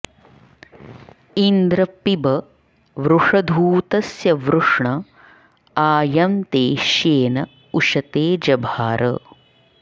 इन्द्र पिब वृषधूतस्य वृष्ण आ यं ते श्येन उशते जभार